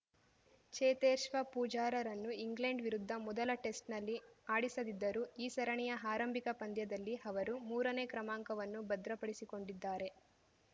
ಚೇತೇಶ್ವ ಪೂಜಾರರನ್ನು ಇಂಗ್ಲೆಂಡ್‌ ವಿರುದ್ಧ ಮೊದಲ ಟೆಸ್ಟ್‌ನಲ್ಲಿ ಆಡಿಸದಿದ್ದರೂ ಈ ಸರಣಿಯ ಆರಂಭಿಕ ಪಂದ್ಯದಲ್ಲಿ ಅವರು ಮೂರನೇ ಕ್ರಮಾಂಕವನ್ನು ಭದ್ರಪಡಿಸಿಕೊಂಡಿದ್ದಾರೆ